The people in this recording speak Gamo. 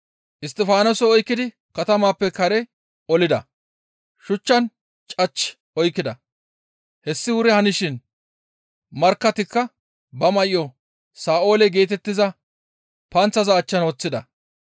Isttifaanose oykkidi katamappe kare olida; shuchchan cach oykkida; hessi wuri hanishin markkatikka ba may7o Sa7oole geetettiza panththaza achchan woththida.